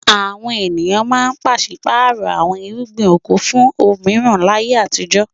Àwọn ènìyàn máa ń pàṣí-pààrọ̀ àwọn irúgbìn oko fún òmíràn láyé àtijọ́.